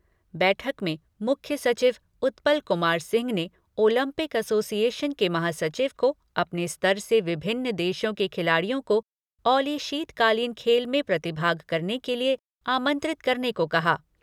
बैठक में मुख्य सचिव उत्पल कुमार सिंह ने ओलम्पिक एसोसिएशन के महासचिव को अपने स्तर से विभिन्न देशों के खिलाड़ियों को औली शीतकालीन खेल में प्रतिभाग करने के लिए आमंत्रित करने को कहा।